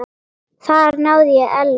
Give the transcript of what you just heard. Þar náði ég Ellu.